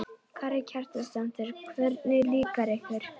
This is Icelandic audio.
Karen Kjartansdóttir: Hvernig líkar ykkur?